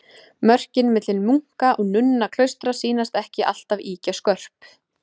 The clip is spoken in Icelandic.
Mörkin milli munka- og nunnuklaustra sýnast ekki alltaf ýkja skörp.